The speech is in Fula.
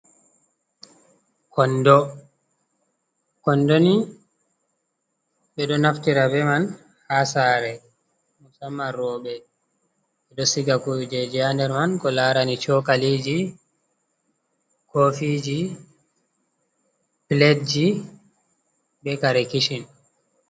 Kondo: Kondo ni ɓeɗo naftira be man ha sare musamman roɓe ɓeɗo siga kuje ha nder man ko larani Chokaliji, kofiji, piletji be kare kishin.